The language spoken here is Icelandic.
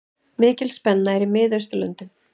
Mikil spenna er í Miðausturlöndum.